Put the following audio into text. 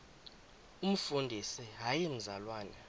umfundisi hayi mzalwana